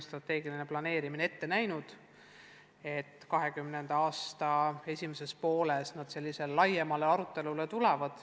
Strateegiline planeerimine on ette näinud, et 2020. aasta esimeses pooles käivitub laiem arutelu.